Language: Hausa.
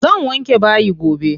Zan wanke bayi gobe.